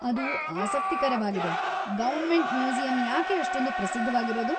ಅದು ಆಸಕ್ತಿಕರವಾಗಿದೆ. Government museum ಯಾಕೆ ಅಷ್ಟೊಂದ್ ಪ್ರಸಿದ್ಧವಾಗಿರೋದು?